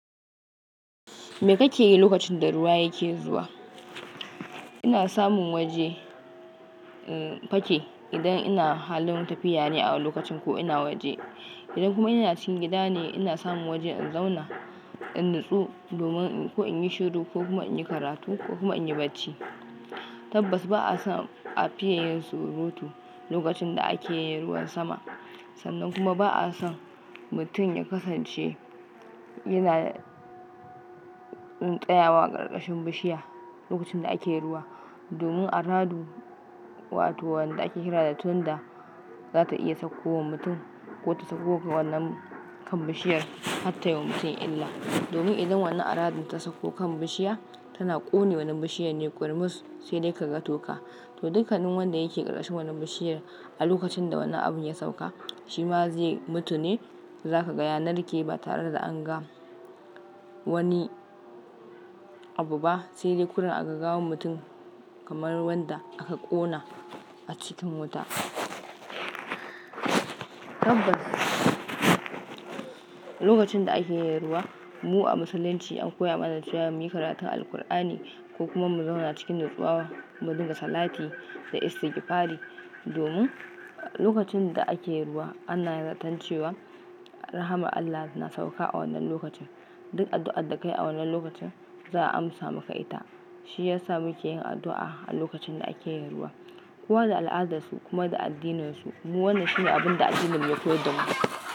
Me kake yi lokacin da ruwa yake zuwa? Ina samun waje, in, fake idan ina halin tafiya ne a lokacin ko ina waje. Idan kuma ina cikin gida ne, ina samun waje in zauna in natsu domin ko in yi shiru ko kuma in yi karatu ko kuma in yi bacci. Tabbas ba a son a fiye yin surutu lokacin da ake yin ruwan sama. Sannan kuma ba a son mutum ya kasance yana, eh, tsayawa a ƙarƙashin bishiya lokacin da ake ruwa domin aradu wato wanda ake kira da thunder za ta iya sauko wa mutum ko ta sauko ga wannan kan bishiyar har ta yi wa mutum illa. Domin idan wannan aradun ta sauko kan bishiya tana ƙone wannan bishiyan ne ƙurmus sai dai ka ga toka. To, dukkanin wanda yake ƙarƙashin wannan bishiyar a lokacin da wannan abin ya sauka shi ma zai mutu ne. Za ka ga ya narke ba tare da an ga wani abu ba sai dai kuran aka gawo mutum kamar wanda aka ƙona a cikin wuta. Tabbas lokacin da ake yin ruwa mu a Musulunci an koya mana cewa mu yi karatu alqur'ani ko kuma mu zauna cikin natsuwa mu dinga salati da issigifali domin lokacin da ake ruwa ana yarda tan cewa rahamar Allah na sauka a wannan lokacin. Duk addu'ar da ka yi a wannan lokacin za a amsa maka ita. Shi ya sa muke yin addu'a a lokacin da ake yin ruwa. Kowa da al'adarsu kuma da addininsu. Mu wannan shi ne abin da addinin mu ya koyar da mu.